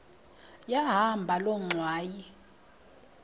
yahamba loo ngxwayi